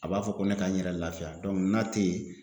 A b'a fɔ ko ne ka n yɛrɛ lafiya dɔnku n'a te yen